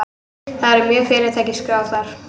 Það voru mörg fyrirtæki skráð þar